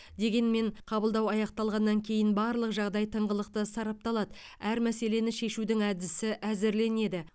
дегенмен қабылдау аяқталғаннан кейін барлық жағдай тыңғылықты сарапталады әр мәселені шешудің әдісі әзірленеді